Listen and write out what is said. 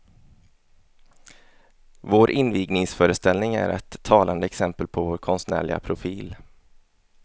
Vår invigningsföreställning är ett talande exempel på vår konstnärliga profil.